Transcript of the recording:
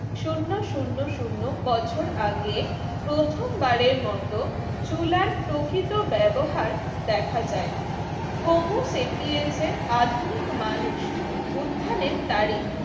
শূন্য শূন্য শূন্য বছর আগে প্রথমবারের মতো চুলার প্রকৃত ব্যবহার দেখা যায় আধুনিক হৌম সেপিয়েন্সের আধুনিক মানুষ উত্থানের তারিখ